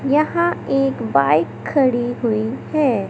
यहाँ एक बाइक खड़ी हुई है।